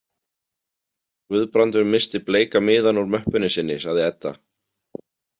Guðbrandur missti bleika miðann úr möppunni sinni, sagði Edda.